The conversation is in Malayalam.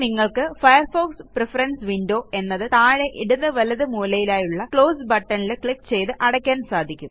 ഇനി നിങ്ങൾക്ക് ഫയർഫോക്സ് പ്രഫറൻസ് വിൻഡോ എന്നത് താഴെ ഇടതു വലത് മൂലയിലായുള്ള ക്ലോസ് buttonൽ ക്ലിക്ക് ചെയ്ത് അടയ്ക്കാന് സാധിക്കും